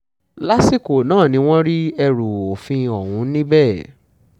lásìkò náà ni wọ́n rí ẹrù òfin ọ̀hún níbẹ̀